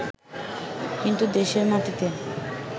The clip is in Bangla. কিন্তু দেশের মাটিতে